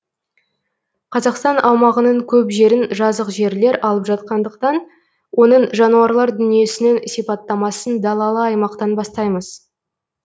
қазақстан аумағының көп жерін жазық жерлер алып жатқандықтан оның жануарлар дүниесінің сипаттамасын далалы аймақтан бастаймыз